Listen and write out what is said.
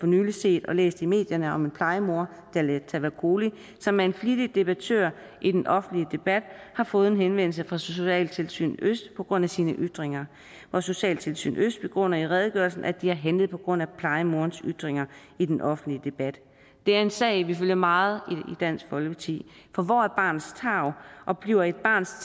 nylig set og læst i medierne om at en plejemor jaleh tavakoli som er en flittig debattør i den offentlige debat har fået en henvendelse fra socialtilsyn øst på grund af sine ytringer og socialtilsyn øst begrunder i redegørelsen at de har handlet på grund af plejemorens ytringer i den offentlige debat det er en sag vi følger meget i dansk folkeparti for hvor er barnets tarv og bliver et barns